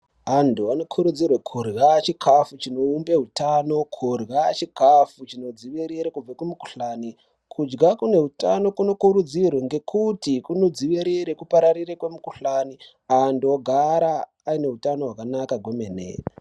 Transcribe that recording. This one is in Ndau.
Antu anokurudzirwe kurya chikafu chinoumbe hutano, kurya chikafu chinodzivirira kubva kumukihlani, kudya kune utano kunokurudzirwa ngekuti kunodzivirira kupararira kwemikuhlani, antu ogara ayineutano hwakanaka kwemene.